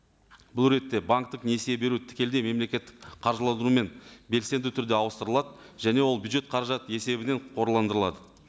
бұл ретте банктік несие бері тікелей мемлекеттік қаржыландырумен белсенді түрде ауыстырылады және ол бюджет қаражат есебінен қорландырылады